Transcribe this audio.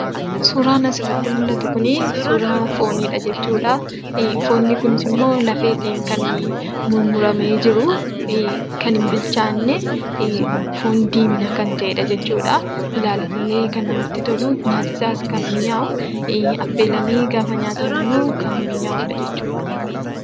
Suuraan asirratti mul'atu kun, suuraa fooniidha jechuudha. foon kunis lafeedhaan kan mummuraamee jirudha. kan hin bilchaanne foon diimina kan ta'eedha jechuudha. ilaaluudhaf kan namatti tolu, nyaati isaas kan mi'aawudha jechuudha.